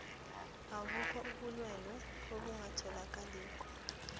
abukho ubulwelwe obungatholakaliko